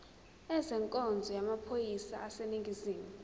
ezenkonzo yamaphoyisa aseningizimu